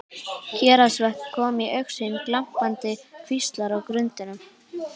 Héraðsvötn komu í augsýn, glampandi kvíslar á grundum.